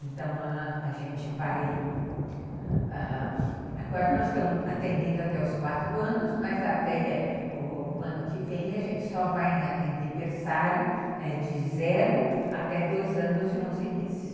Então, a gente vai... ãh... Agora nós estamos atendendo até os quatro anos, mas até o ano que vem a gente só vai atender berçário de zero até dois anos e onze meses.